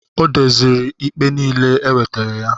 Ọ dozịrị ikpe niile e wetara ya